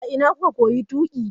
A ina kuka koyi tuƙi?